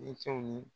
Denkɛw ni